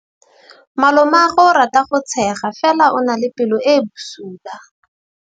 Malomagwe o rata go tshega fela o na le pelo e e bosula.